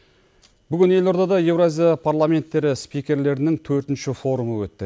бүгін елордада еуразия парламенттері спикерлерінің төртінші форумы өтті